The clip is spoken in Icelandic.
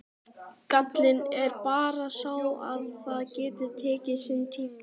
Gallinn er bara sá að það getur tekið sinn tíma.